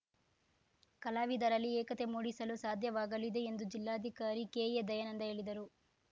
ಕಲಾವಿದರಲ್ಲಿ ಏಕತೆ ಮೂಡಿಸಲು ಸಾಧ್ಯವಾಗಲಿದೆ ಎಂದು ಜಿಲ್ಲಾಧಿಕಾರಿ ಕೆಎ ದಯಾನಂದ ಹೇಳಿದರು